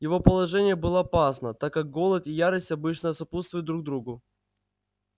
его положение было опасно так как голод и ярость обычно сопутствуют друг другу